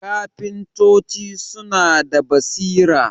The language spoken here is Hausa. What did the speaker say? kafintoci suna da basira